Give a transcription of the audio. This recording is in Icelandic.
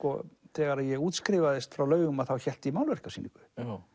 þegar ég útskrifaðist frá Laugum hélt ég málverkasýningu